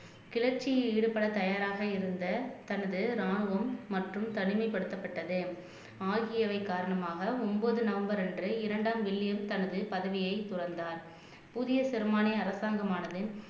கிளர்ச்சியில் ஈடுபட தயாராக இருந்த தனது ராணுவம் மற்றும் தனிமைப்படுத்தப்பட்டது ஆகியவை காரணமாக ஒன்பது நவம்பர் அன்று இரண்டாம் வில்லியம் தனது பதவியை துறந்தார் புதிய ஜெர்மானிய அரசாங்கமானது